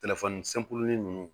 ninnu